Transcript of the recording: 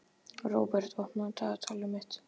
Róbert, opnaðu dagatalið mitt.